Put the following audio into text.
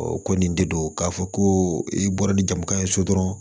ko nin de don k'a fɔ ko i bɔra ni jamu ka ye so dɔrɔn